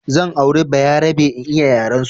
Zan auri bayarabe in iya yarensu